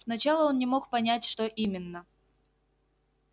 сначала он не мог понять что именно